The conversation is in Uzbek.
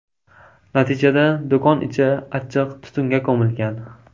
Natijada do‘kon ichi achchiq tutunga ko‘milgan.